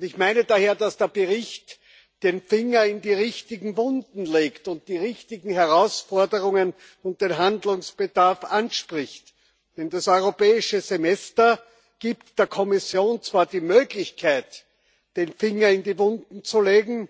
Ich meine daher, dass der Bericht den Finger in die richtigen Wunden legt und die richtigen Herausforderungen und den Handlungsbedarf anspricht, denn das Europäische Semester gibt der Kommission zwar die Möglichkeit, den Finger in die Wunden zu legen,